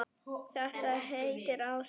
Þetta heitir ást.